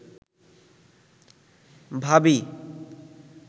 ভাবী